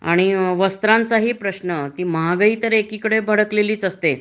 आणि वस्त्रांचाही प्रश्न ती महागाई एकीकडे भडकलेलीच असते